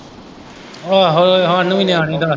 ਆਹੋ ਸਾਨੂੰ ਵੀ ਨਿਆਣੀ ਦਾ।